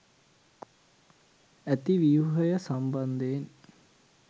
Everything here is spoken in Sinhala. ඇති ව්‍යුහය සම්බන්ධයෙන්